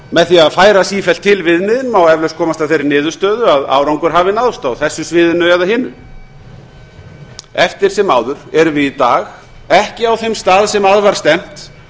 með því að færa sífellt til viðmiðin má eflaust komast að þeirri niðurstöðu að árangur hafi náðst á þessu sviðinu eða hinu eftir sem áður erum við í dag ekki á þeim stað sem að var stefnt